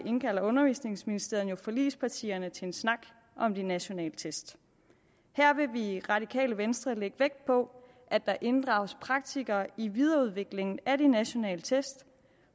indkalder undervisningsministeren jo forligspartierne til en snak om de nationale test her vil vi i radikale venstre lægge vægt på at der inddrages praktikere i videreudviklingen af de nationale test